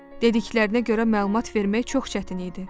Dediklərinə görə məlumat vermək çox çətin idi.